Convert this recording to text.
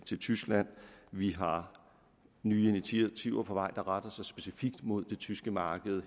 til tyskland vi har nye initiativer på vej der retter sig specifikt mod det tyske marked